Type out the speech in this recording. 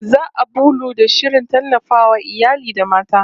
Za'a bullo da shirin tallafawa iyali da mata